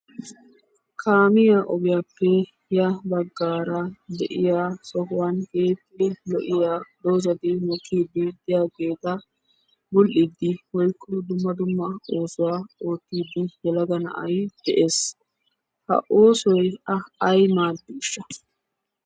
Kaamiyaa ogiyaappe yaa baggara de'yaa sohuwaan keehippe lo'iyaa doozatti mokidi de'yaagetta bul'id woykko dumma dumma oosuwaa oottidi yelagga na'ay de'es. Ha oosoy a ay maadishsha?